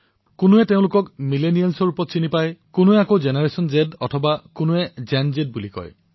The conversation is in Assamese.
কিছু লোকে তেওঁলোকক মিলেনিয়েলছ বুলি কয় কিছুমানে তেওঁলোকক জেনাৰেশ্যন জ অথবা গেন জ বুলিও কয়